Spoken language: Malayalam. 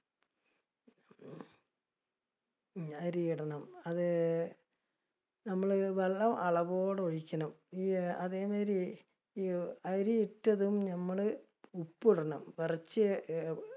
അരി ഇടണം, അത് ഞമ്മള് വെള്ളം അളവോടെ ഒഴിക്കണം. ഈ അതേമാതിരി, ഈ അരി ഇട്ടതും ഞമ്മള്, ഉപ്പ് ഇടണം കുറച്ച് ഏർ